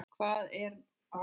Hvað er það nú aftur?